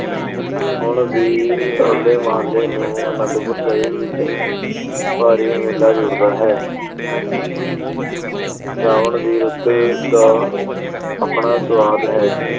ਹੁਣ ਵੀ ਹੋਲੇ ਮਹੱਲੇ ਨੂੰ ਅਨੰਦਪੁਰ ਵਿੱਚ ਭਾਰੀ ਮੇਲਾ ਜੁੜਦਾ ਹੈ। ਸਾਵਣ ਦੀ ਰੁੱਤ ਦਾ ਆਪਣਾ ਸਵਾਦ ਹੈ।